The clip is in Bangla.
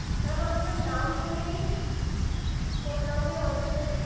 Ma'am আপনার নাম বলে দিন, কোন নামে order যাবে?